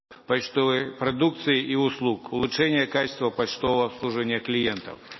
почтовой продукции и услуг улучшения качества почтового обслуживания клиентов